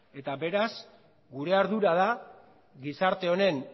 eta beraz gure ardura da gizarte honen